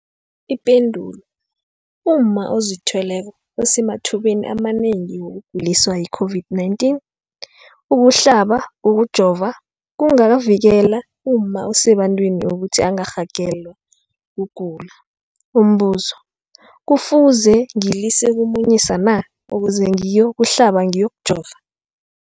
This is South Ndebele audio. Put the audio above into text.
Ipendulo, umma ozithweleko usemathubeni amanengi wokuguliswa yi-COVID-19. Ukuhlaba, ukujova kungavikela umma osebantwini ukuthi angarhagalelwa kugula. Umbuzo, kufuze ngilise ukumunyisa na ukuze ngiyokuhlaba, ngiyokujova?